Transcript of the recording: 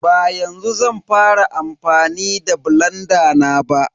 Ba yanzu zan fara amfani da blanda na ba.